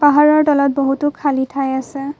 পাহাৰৰ তলত বহুতো খালি ঠাই আছে।